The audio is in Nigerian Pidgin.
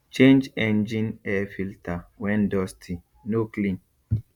change engine air filter when dusty no clean